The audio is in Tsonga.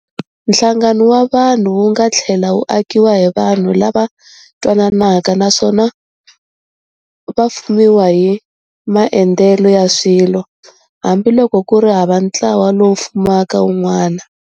Nhlangano wa vanhu wu nga thlela wu akiwa hi vanhu lava twananaka naswona vafumiwa hi maendele ya swilo, hambi loko kuri hava ntlawa lowu fumaka wun'wana.